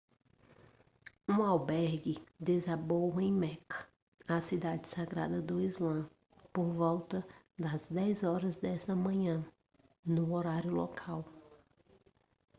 um albergue desabou em meca a cidade sagrada do islã por volta das 10 horas desta manhã no horário local